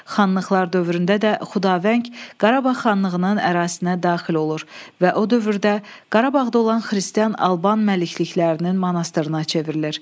Xanlıqlar dövründə də Xudavəng Qarabağ xanlığının ərazisinə daxil olur və o dövrdə Qarabağda olan xristian Alban məlikliklərinin monastırına çevrilir.